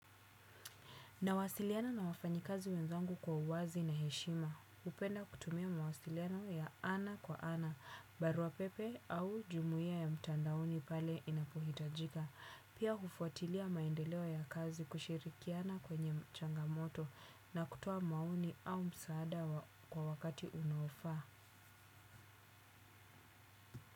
Nawasiliana na wafanyi kazi wenzangu kwa uwazi na heshima. Hupenda kutumia mawasiliano ya ana kwa ana, barua pepe au jumuia ya mtandaoni pale inapohitajika. Pia hufuatilia maendeleo ya kazi kushirikiana kwenye changamoto na kutoa maoni au msaada kwa wakati unaofaa.